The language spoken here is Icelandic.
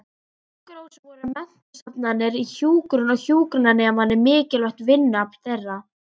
Sjúkrahúsin voru menntastofnanir í hjúkrun og hjúkrunarnemarnir mikilvægt vinnuafl þeirra.